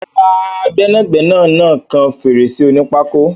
Rárá, gbẹ́nàgbẹnà náà kan fèrèsé onípákó.